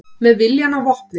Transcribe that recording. Með viljann að vopni